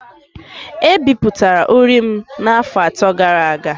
E bipụtara uri m n’afọ atọ gara aga